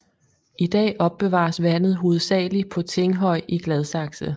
I dag opbevares vandet hovedsagelig på Tinghøj i Gladsaxe